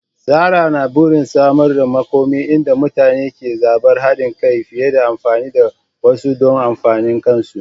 Zarah na burin samar da makoma inda mutane ke zabar haɗin kai fiye da amfani da wasu don amfanin kansu.